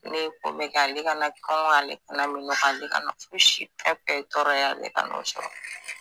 Ne ye ko bɛɛ kɛ ale kana kɔngɔ ale kana minnɔgɔ ale kana fosi fɛnfɛn ye tɔɔrɔ ye ale kan'o sɔrɔ.